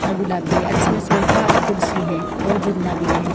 गुलाबी और इसमें सोफा और कुर्सी है और जिन्ना भी है।